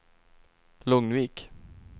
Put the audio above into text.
Lugnvik